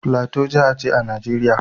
Plateau jiha ce a Najeriya.